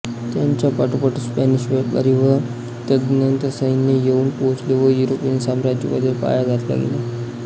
त्यांच्या पाठोपाठ स्पॅनिश व्यापारी व तद्नंतर सैन्य येउन पोचले व युरोपियन साम्राज्यवादाचा पाया घातला गेला